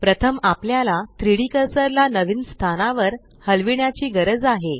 प्रथम आपल्याला 3डी कर्सर ला नवीन स्थानावर हलविण्याची गरज आहे